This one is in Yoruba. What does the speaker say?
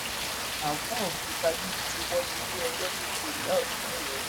àáfàá òkútagídí ti wọgi lé ẹjọ tó pe ìyá ọsùn ńìlọrin